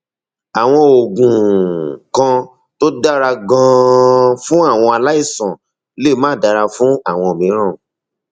àwọn oògùn kan tó dára ganan fún àwọn aláìsàn lè máà dára fún àwọn mìíràn